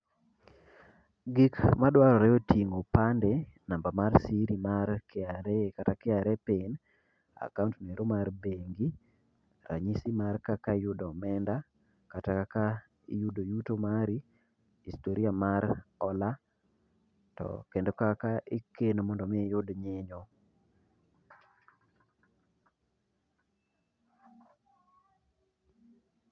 Gik madwarore oting'o opande, namba mar siri mar KRA, kata KRA PIN, akaont noero mar bengi, ranyisi mar kaka iyudo omenda, kata kaka iyudo yudo yuto mari. Historia mar hola, to kendo kaka ikeno mondo mi iyud nyinyo.